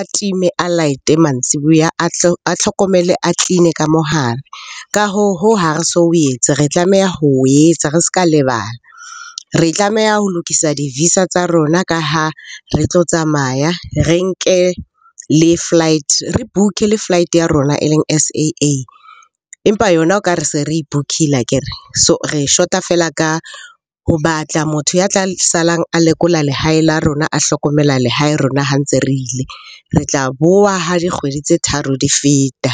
a time, a light-e mantsiboya. A tlhokomele, a clean-e ka mo hare. Ka hoo ha re so o etse, re tlameha ho etsa re se ka lebala. Re tlameha ho lokisa di-visa tsa rona ka ha re tlo tsamaya, re nke le flight, re book-e le flight ya rona e leng S_A_A. Empa yona o ka re se re e book-ile akere, so re shota feela ka ho batla motho ya tla salang a lekola lehae la rona. A hlokomela lehae rona ha ntse re ile, re tla bowa ha dikgwedi tse tharo di feta.